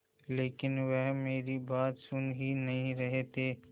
लेकिन वह मेरी बात सुन ही नहीं रहे थे